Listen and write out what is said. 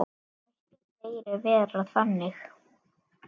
Mættu fleiri vera þannig.